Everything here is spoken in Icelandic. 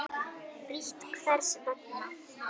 Frítt Hvers vegna?